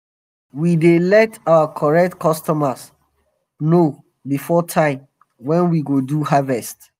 we dey let our correct customers know before time wen we go do harvest.